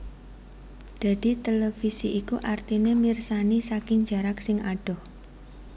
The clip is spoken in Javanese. Dadi televisi iku artine mirsani saking jarak sing adoh